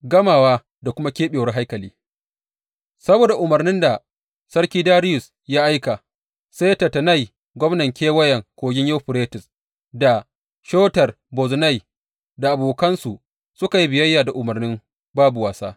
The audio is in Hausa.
Gamawa da kuma keɓewar haikali Saboda umarnin da sarki Dariyus ya aika, sai Tattenai, gwamnan Kewayen Kogin Yuferites da Shetar Bozenai da abokansu suka yi biyayya da umarnin babu wasa.